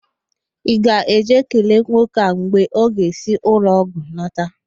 Ị ga-eje kelee nwoke a mgbe ọ ga-esi n'ụlọọgwụ lọta?